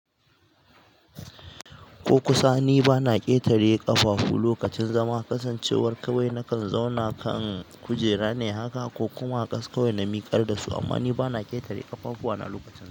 Ko kusa ni bana ƙetare ƙafafu lokacin zama, kasancewar kawai na kan zauna kan kujera ne haka ko kuma a ƙasa kawai na miƙar da su. Amma ni bana ƙetare ƙafafuwana lokacin.